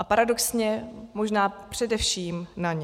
A paradoxně možná především na ně.